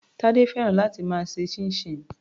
Tade fẹ́ràn láti máa ṣe chinchin.